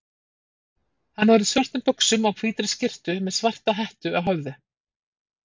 Hann var á svörtum buxum og hvítri skyrtu með svarta hettu á höfði.